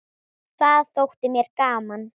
Það þótti mér gaman.